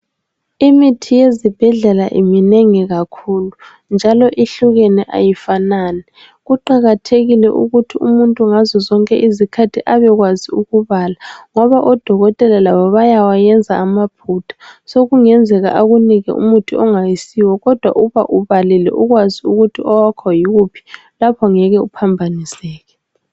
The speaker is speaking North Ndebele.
Imithi yezibhedlela minengi kakhulu njalo ihlukene ayifanani. Kuqakathekile ukuthi umuntu ngazozonke izikhathi abekwazi ukubala ngoba odokotela labo bayawayenza amaphutha, sokungenzeka ukuthi akunike umuthi ongayisiwo kodwa uba ubalile ukwazi ukuthi owakho yiwuphi lapho ngeke uphambaniseke.